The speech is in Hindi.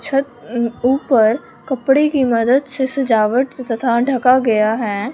छत ऊपर कपड़े की मदद से सजावट तथा ढाका गया है।